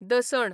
दसण